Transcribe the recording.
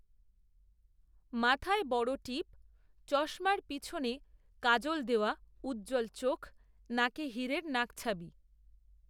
মাথায় বড় টিপ, চশমার পিছনে কাজল দেওয়া, উজ্জ্বল চোখ, নাকে, হিরের নাকছাবি